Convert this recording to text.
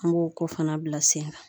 An b'o ko fana bila sen kan